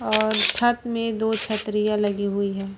और छत में दो छतरियां लगी हुई है।